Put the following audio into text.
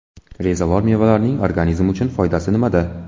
Rezavor mevalarning organizm uchun foydasi nimada?.